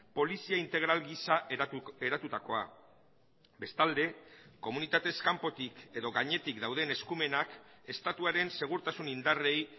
polizia integral gisa eratutakoa bestalde komunitatez kanpotik edo gainetik dauden eskumenak estatuaren segurtasun indarrei